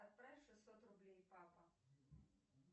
отправь шестьсот рублей папа